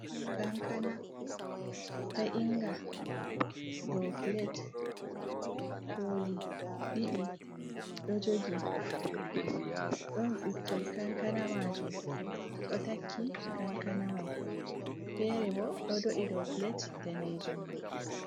Kankana ta inga ɗou plate, koli ɗiɗi ɗo jogi, ɗon ɓikkon kankana majum ɗo takki kankana mai, fere bo ɗo do'i dou plate danejum mai.